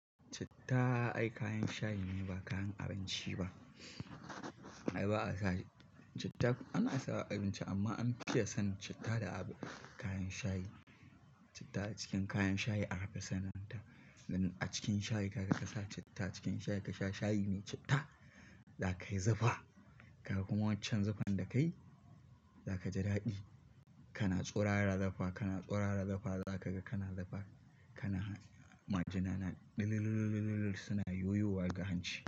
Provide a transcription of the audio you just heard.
Citta ai kayan shayi ne ba kayan abinci ba. Ai ba a sa citta ana sawa abinci amma an fi iya son citta da kayan shayi. Citta a cikin kayan shayi akafi san ta. A cikin shayi kaga ka sa citta, cikin shayi ka sha shayi ne citta, za ka yi zufa. Kaga kuma waccan zufan da ka yi za ka ji daɗi. Kana tsurara zufa, kana tsurara zufa za ka ga kana zufa. Kana han majina na ɗililililil suna yoyowa ga hanci.